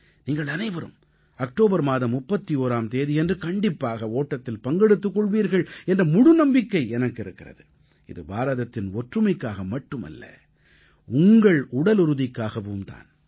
நீங்கள் அனைவரும் அக்டோபர் மாதம் 31ஆம் தேதியன்று கண்டிப்பாக ஓட்டத்தில் பங்கெடுத்துக் கொள்வீர்கள் என்ற முழுநம்பிக்கை எனக்கு இருக்கிறது இது பாரதத்தின் ஒற்றுமைக்காக மட்டுமல்ல உங்கள் உடலுறுதிக்காகவும் தான்